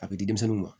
A bɛ di denmisɛnninw ma